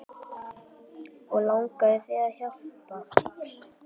Og langaði þig til að hjálpa?